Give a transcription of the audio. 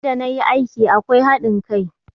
In da na yi aiki akwai haɗin kai